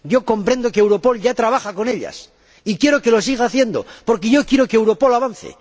Comprendo que Europol ya trabaje con ellas y quiero que lo siga haciendo, porque yo quiero que Europol avance.